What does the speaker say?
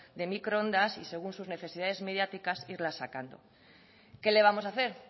de microondas y según sus necesidades mediáticas irlas sacando qué le vamos a hacer